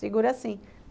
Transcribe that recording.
Segura assim.